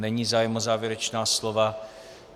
Není zájem o závěrečná slova.